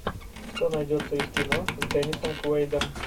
что найдется из кино с деннисом куэйдом